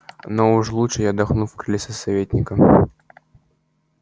но уж лучше я отдохну в кресле советника